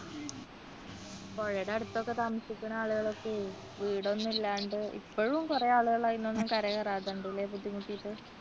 പുഴയുടെ അടുത്തൊക്കെ താമസിക്കുന്ന ആളുകളൊക്കെ വീടൊന്നുമില്ലാണ്ട് ഇപ്പോഴും കുറെ ആളുകൾ അതൊന്നും കര കയറാതെ ഉണ്ട് ഇല്ലേ ബുദ്ധിമുട്ടിട്ട്